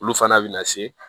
Olu fana bɛ na se